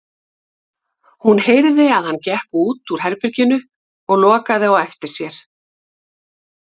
Hún heyrði að hann gekk út úr herberginu og lokaði á eftir sér.